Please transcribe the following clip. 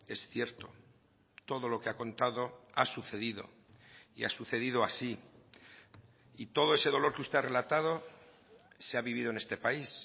es cierto todo lo que ha contado a sucedido y ha sucedido así y todo ese dolor que usted ha relatado se ha vivido en este país